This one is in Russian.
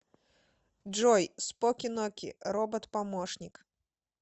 джой споки ноки робот помощник